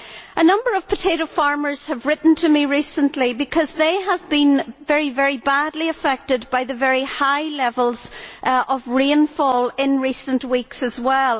A number of potato farmers have written to me recently because they have been very badly affected by the very high levels of rainfall in recent weeks as well.